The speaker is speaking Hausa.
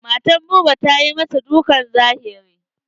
Matar Buba ta masa dukkan zahiri.